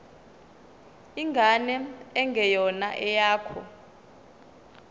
ingane engeyona eyakho